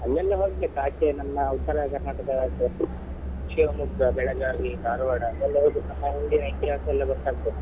ಅಲ್ಲಿಯೆಲ್ಲ ಹೋಗ್ಬೇಕು ಆಚೆ ನಮ್ಮ Uttara Karnataka ಆಚೆ Shivamogga, Belagavi, Dharwad ಅಲ್ಲೆಲ್ಲ ಹೋಗ್ಬೇಕು ಅಲ್ಲಿನ ಇತಿಹಾಸ ಎಲ್ಲ ಗೊತ್ತಾಗ್ತದೆ.